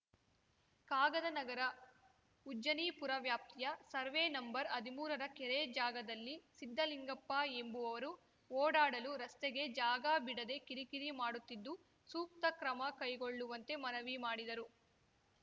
ಕಾಗದನಗರ ಉಜ್ಜನೀಪುರ ವ್ಯಾಪ್ತಿಯ ಸರ್ವೆ ನಂಬರ್ಹದಿಮೂರರ ಕೆರೆ ಜಾಗದಲ್ಲಿ ಸಿದ್ಧಲಿಂಗಪ್ಪ ಎಂಬುವವರು ಓಡಾಡಲು ರಸ್ತೆಗೆ ಜಾಗ ಬಿಡದೆ ಕಿರಿಕಿರಿ ಮಾಡುತ್ತಿದ್ದು ಸೂಕ್ತ ಕ್ರಮ ಕೈಗೊಳ್ಳುವಂತೆ ಮನವಿ ಮಾಡಿದರು